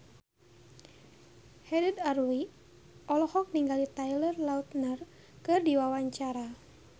Haddad Alwi olohok ningali Taylor Lautner keur diwawancara